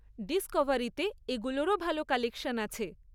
ডিসকভারিতে এগুলোরও ভালো কালেকশন আছে।